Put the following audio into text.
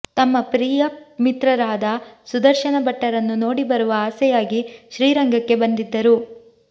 ತಮ್ಮ ಪ್ರಿಯ ಮಿತ್ರರಾದ ಸುದರ್ಶನ ಭಟ್ಟರನ್ನು ನೋಡಿಬರುವ ಆಸೆಯಾಗಿ ಶ್ರೀರಂಗಕ್ಕೆ ಬಂದಿದ್ದರು